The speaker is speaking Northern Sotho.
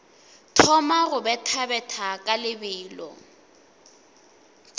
thoma go bethabetha ka lebelo